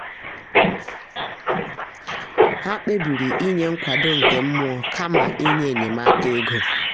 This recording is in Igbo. ha kpebiri inye nkwado nke mmụọ kama inye enyemaka ego.